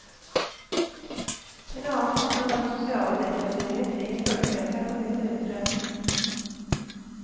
En annen faktor var den sosiale deklasseringen krigen førte med seg for mine foreldre.